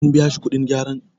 an biya shi kudin gyaran?